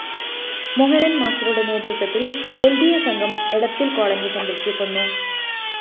മോഹനന്‍ മാസ്റ്ററുടെ നേതൃത്വത്തില്‍ ന്‌ ഡി അ സംഘം എടത്തില്‍ കോളനി സന്ദര്‍ശിക്കുന്നു